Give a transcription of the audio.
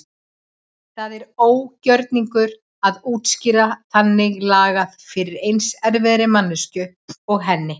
Það er ógjörningur að útskýra þannig lagað fyrir eins erfiðri manneskju og henni.